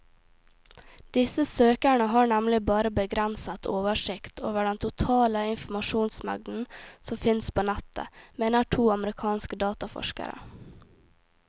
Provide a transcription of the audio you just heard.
Disse søkerne har nemlig bare begrenset oversikt over den totale informasjonsmengden som fins på nettet, mener to amerikanske dataforskere.